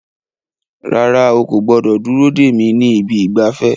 Rárá, o kò gbọdọ̀ dúró dè mí ní ibi ìgbafẹ́.